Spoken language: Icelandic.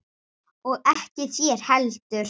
Og ekki þér heldur!